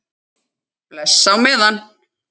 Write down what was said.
Bless á meðan.